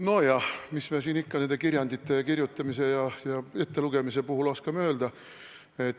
Nojah, mis ma siin ikka nende kirjandite kirjutamise ja ettelugemise kohta oskan öelda.